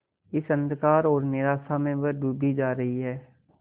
इस अंधकार और निराशा में वह डूबी जा रही है